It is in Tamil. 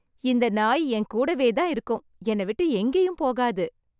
இந்த நாய் என்கூடவே தான் இருக்கும் என்னை விட்டு எங்கேயும் போகாது.